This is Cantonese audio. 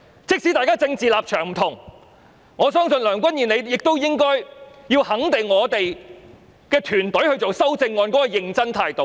即使大家政治立場不同，我相信梁君彥你也應該肯定我們團隊草擬修正案時的認真態度。